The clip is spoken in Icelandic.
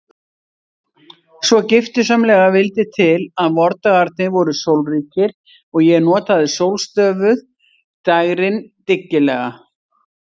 Svo giftusamlega vildi til að vordagarnir voru sólríkir og ég notaði sólstöfuð dægrin dyggilega.